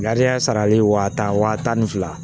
Gariya sarali wa tan wa tan ni fila